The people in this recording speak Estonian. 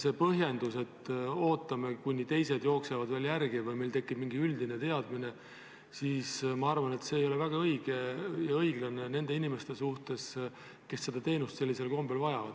See põhjendus, et ootame, kuni teised jooksevad veel järele või meil tekib mingi üldine teadmine, ma arvan, ei ole väga õige ja õiglane nende inimeste suhtes, kes seda teenust sellisel kombel vajavad.